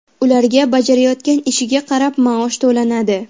Ularga bajarayotgan ishiga qarab maosh to‘lanadi.